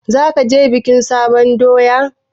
Zaka je bikin sabon doya?